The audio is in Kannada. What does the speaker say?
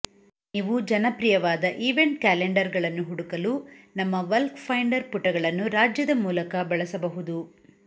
ನೀವು ಜನಪ್ರಿಯವಾದ ಈವೆಂಟ್ ಕ್ಯಾಲೆಂಡರ್ಗಳನ್ನು ಹುಡುಕಲು ನಮ್ಮ ವಲ್ಕ್ ಫೈಂಡರ್ ಪುಟಗಳನ್ನು ರಾಜ್ಯದ ಮೂಲಕ ಬಳಸಬಹುದು